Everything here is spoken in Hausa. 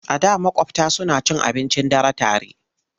A da maƙwabta suna cin abincin dare tare.